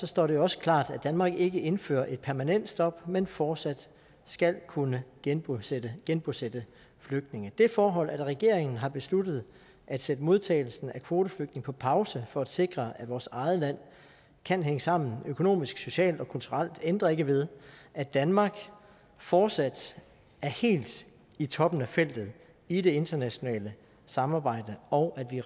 står det også klart at danmark ikke indfører et permanent stop men fortsat skal kunne genbosætte genbosætte flygtninge det forhold at regeringen har besluttet at sætte modtagelsen af kvoteflygtninge på pause for at sikre at vores eget land kan hænge sammen økonomisk socialt og kulturelt ændrer ikke ved at danmark fortsat er helt i toppen af feltet i det internationale samarbejde og at vi